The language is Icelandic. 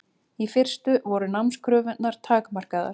Í fyrstu voru námskröfurnar takmarkaðar.